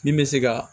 Min bɛ se ka